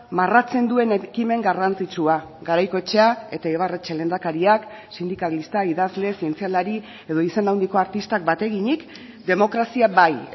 marratzen duen ekimen garrantzitsua garaikoetxea eta ibarretxe lehendakariak sindikalista idazle zientzialari edo izen handiko artistak bat eginik demokrazia bai